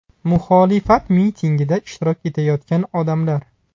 Muxolifat mitingida ishtirok etayotgan odamlar.